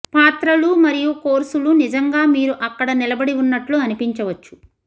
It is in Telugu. పాత్రలు మరియు కోర్సులు నిజంగా మీరు అక్కడ నిలబడి ఉన్నట్లు అనిపించవచ్చు